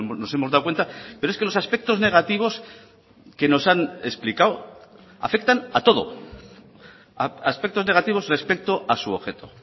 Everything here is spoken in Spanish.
nos hemos dado cuenta pero es que los aspectos negativos que nos han explicado afectan a todo aspectos negativos respecto a su objeto